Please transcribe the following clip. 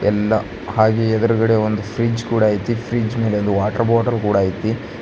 ಎಲ್ಲಾ ಹಾಗೆ ಎದ್ರುಗಡೆ ಒಂದು ಫ್ರಿಡ್ಜ್ ಕೂಡ ಐತಿ ಫ್ರಿಡ್ಜ್ ಮೇಲೆ ವಾಟರ್ ಬಾಟಲ್ ಕೂಡ ಐತಿ.